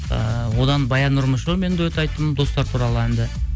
ыыы одан баян нұрмышевамен дуэт айттым достар туралы әнді